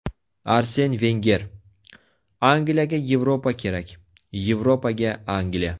Arsen Venger: Angliyaga Yevropa kerak, Yevropaga Angliya.